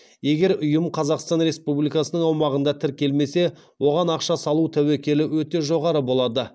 егер ұйым қазақстан республикасының аумағында тіркелмесе оған ақша салу тәуекелі өте жоғары болады